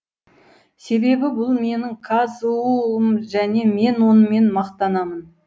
себебі бұл менің қазұу ым және мен онымен мақтанамын